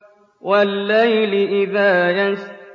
وَاللَّيْلِ إِذَا يَسْرِ